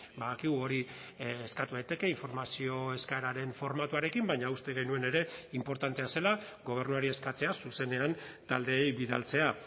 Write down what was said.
badakigu hori eskatu daiteke informazio eskaeraren formatuarekin baina uste genuen ere inportantea zela gobernuari eskatzea zuzenean taldeei bidaltzea